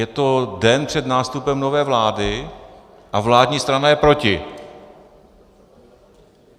Je to den před nástupem nové vlády, a vládní strana je proti.